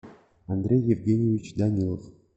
андрей евгеньевич данилов